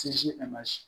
Sinsin a man se